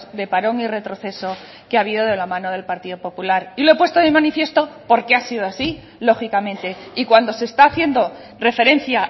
de parón y retroceso que ha habido de la mano del partido popular y lo he puesto de manifiesto porque ha sido así lógicamente y cuando se está haciendo referencia